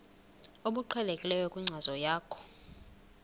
obuqhelekileyo kwinkcazo yakho